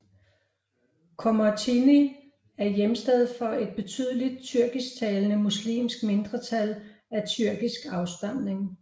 Komotini er hjemsted for et betydeligt tyrkisktalende muslimsk mindretal af tyrkisk afstamning